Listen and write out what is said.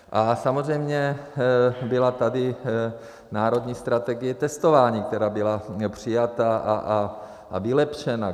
A samozřejmě byla tady národní strategie testování, která byla přijata a vylepšena.